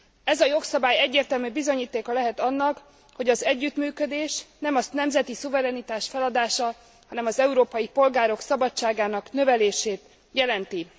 Ez a jogszabály egyértelmű bizonyítéka lehet annak, hogy az együttműködés nem a nemzeti szuverenitás feladása, hanem az európai polgárok szabadságának növelését jelenti.